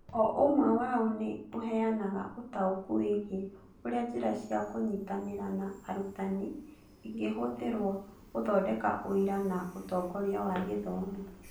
O ũmwe wao nĩ ũheanaga ũtaũku wĩgiĩ ũrĩa njĩra cia kũnyitanĩra na arutani ingĩhũthĩrũo gũthondeka ũira na ũtongoria wa gĩthomo